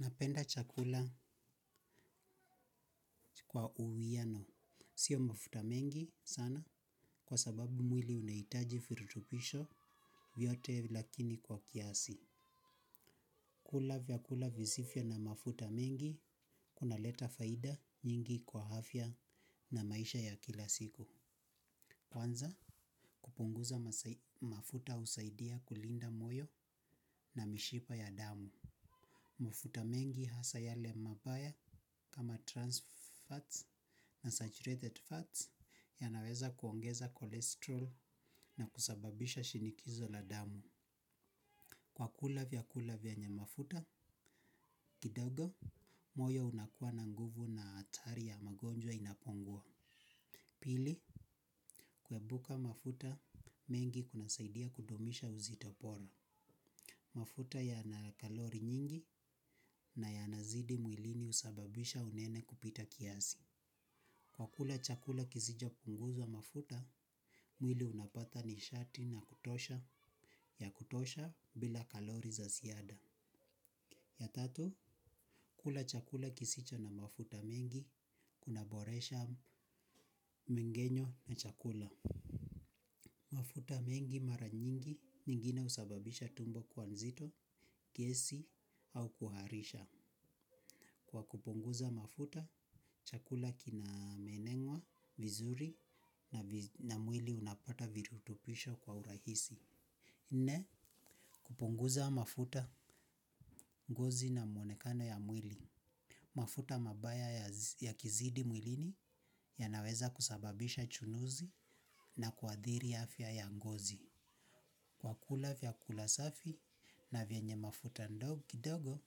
Napenda chakula kwa uwiano. Sio mafuta mengi sana kwa sababu mwili unahitaji virutubisho vyote lakini kwa kiasi. Kula vyakula visivyo na mafuta mengi kunaleta faida nyingi kwa afya na maisha ya kila siku. Kwanza kupunguza mafuta husaidia kulinda moyo na mishipa ya damu. Mafuta mengi hasa yale mabaya kama trans fats na saturated fats ya naweza kuongeza kolesterol na kusababisha shinikizo la damu. Kwa kula vya kula vyenye mafuta kidogo, moyo unakuwa na nguvu na hatari ya magonjwa inapongua. Pili, pmafuta mengi kunasaidia kudumisha uzito bora. Mafuta yana kalori nyingi nayanazidi mwilini husababisha unene kupita kiasi. Kwa kula chakula kisicho punguza mafuta, mwili unapata nishati na kutosha ya kutosha bila kalori za ziada. Ya tatu, kula chakula kisicho na mafuta mengi, kuna boresha mmeng'enyo wa chakula. Mafuta mengi mara nyingi nyingine usababisha tumbo kuwa nzito, gesi au kuharisha. Kwa kupunguza mafuta, chakula kina meng'enywa, vizuri na mwili unapata virutubisho kwa urahisi. Nne, kupunguza mafuta, ngozi na mwonekano ya mwili. Mafuta mabaya yakizidi mwilini yanaweza kusababisha chunuzi na kuathiri afya ya ngozi. Kwa kula vyakula safi na vyenye mafuta ndogo,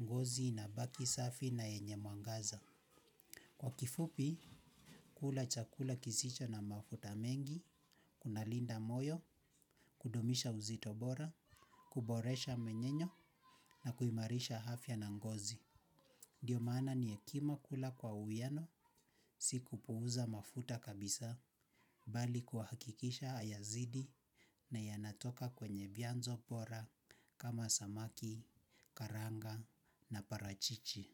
ngozi inabaki safi na yenye mwangaza. Kwa kifupi, kula chakula kisicho na mafuta mengi, kunalinda moyo, kudumisha uzito bora, kuboresha mmeng'enyo na kuimarisha afya na ngozi. Ndiyo maana ni hekima kula kwa uwiano, si kupuuza mafuta kabisa, bali kuhakikisha hayazidi na yanatoka kwenye vyanzo bora kama samaki, karanga na parachichi.